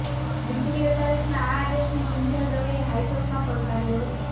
નીચલી અદાલતના આ આદેશને કિંજલ દવેએ હાઇકોર્ટમાં પડકાર્યો હતો